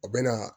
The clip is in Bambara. U bɛ na